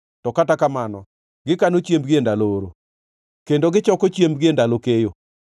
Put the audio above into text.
to kata kamano, gikano chiembgi e ndalo oro, kendo gichoko chiembgi e ndalo keyo.